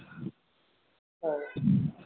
हो